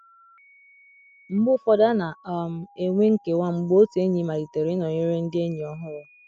Mgbe ụfọdụ a na - um enwe nkewa mgbe otu enyi malitere ịnọnyere ndị enyi ọhụrụ.